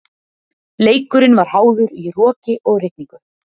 Leikurinn var háður í roki og rigningu.